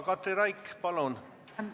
Katri Raik, palun!